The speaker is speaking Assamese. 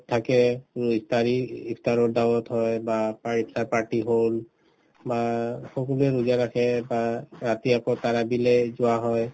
থাকে ইফতাৰি ইফতাৰত dawat হয় বা ইফতাৰ party হল বা সকলোয়ে ৰোজা ৰাখে বা ৰাতি আকৌ যোৱা হয়